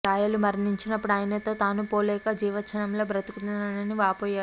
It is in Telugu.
రాయలు మరణించినప్పుడు ఆయనతో తనూ పోలేక జీవచ్చవంలా బ్రతుకుతున్నానే అని వాపోయాడట